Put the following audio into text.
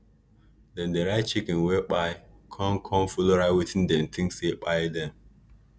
dem dey write chicken wey kpai con con follow write wetin dim think say kpai dem